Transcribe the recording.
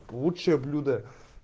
лучшие блюда